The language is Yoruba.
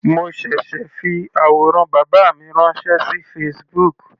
Mo ṣẹ̀ṣẹ̀ fi àwòrán bàbá mi ránṣẹ́ sí Facebook.